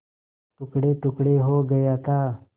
टुकड़ेटुकड़े हो गया था